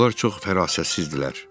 Onlar çox fərasətsizdirlər.